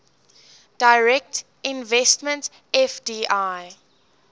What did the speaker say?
direct investment fdi